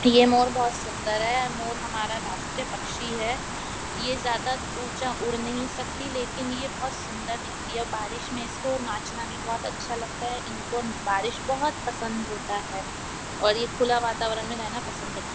ये मोर बहुत सुन्दर है और मोर हमारा राष्टीय पक्षी है ये ज्यादा ऊँचा उड़ नही सकती लेकिन यह बहुत सुन्दर दिखती है बारिश में इसको नाचना भी बहुत अच्छा लगता है इनको बारिश बहुत पसंद होता है और यह खुला वातावरण में रहना पसंद करते हैं।